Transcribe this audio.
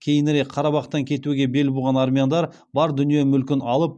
кейінірек қарабақтан кетуге бел буған армяндар бар дүние мүлкін алып